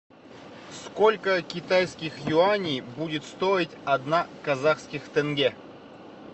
сколько китайских юаней будет стоить одна казахских тенге